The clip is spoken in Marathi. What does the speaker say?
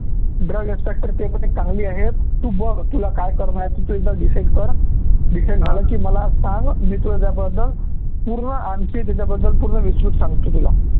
drug inspector ते पण एक चांगली आहे, तू बघ तूला काय करनं आहे तू एकदा decide कर decide झालं की मला सांग मी तुझ्याबद्दल पूर्ण आणखी तिच्याबद्दल पूर्ण विस्तृत सांगतो तुला